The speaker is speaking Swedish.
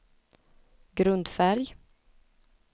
grundfärg